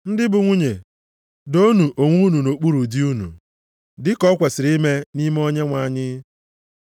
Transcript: Ndị bụ nwunye, doonụ onwe unu nʼokpuru di unu, dị ka ọ kwesiri ime nʼime Onyenwe anyị.